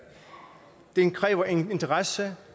den kræver interesse